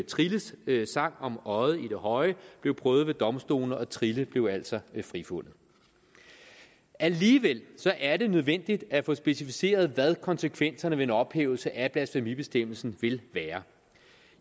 trilles sang om øjet i det høje blev prøvet ved domstolene og trille blev altså frifundet alligevel er det nødvendigt at få specificeret hvad konsekvenserne af en ophævelse af blasfemibestemmelsen vil være